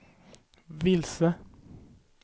vilse